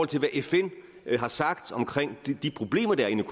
til hvad fn har sagt omkring de problemer der er inde